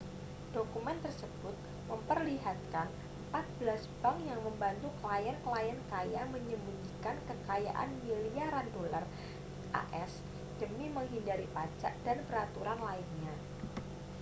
dokumen tersebut memperlihatkan empat belas bank yang membantu klien-klien kaya menyembunyikan kekayaan miliaran dolar as demi menghindari pajak dan peraturan lainnya